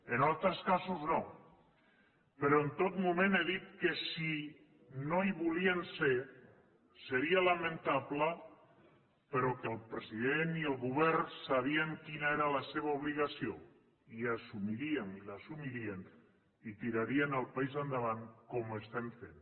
en altres casos no però en tot moment he dit que si no hi volien ser seria lamentable però que el president i el govern sabien quina era la seva obligació i l’assumirien i tirarien el país endavant com ho estem fent